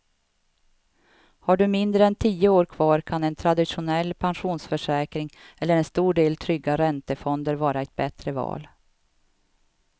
Har du mindre än tio år kvar kan en traditionell pensionsförsäkring eller en stor del trygga räntefonder vara ett bättre val.